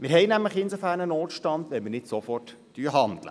Wir haben nämlich insofern einen Notstand, als wir nicht sofort handeln.